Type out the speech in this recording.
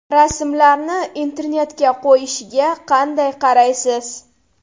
Rasmlarni internetga qo‘yishiga qanday qaraysiz?